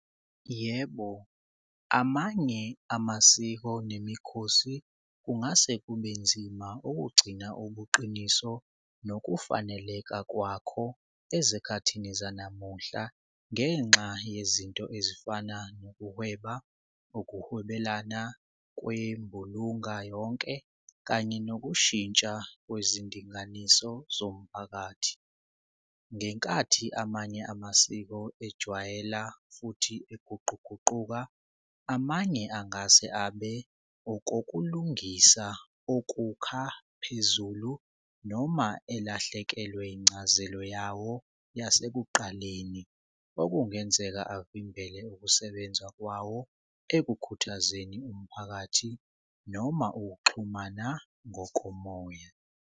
Yebo, amanye amasiko nemikhosi kungase kube nzima ukugcina ubuqiniso nokufaneleka kwakho ezikhathini zanamuhla ngenxa yezinto ezifana nokuhweba, ukuhwebelana kwembulunga yonke, kanye nokushintsha kwizindinganiso zomphakathi. Ngenkathi amanye amasiko ejwayela futhi iguquguquka amanye angase abe okokulungisa ukukha phezulu noma elahlekelwe incazelo yawo yasekuqala okungenzeka avimbele ukusebenza kwawo ekukhuthazeni umphakathi noma ukuxhumana ngokomoya.